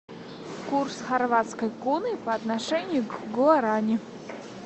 курс хорватской куны по отношению к гуарани